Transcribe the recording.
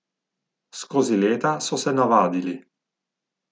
Skozi leta so se navadili.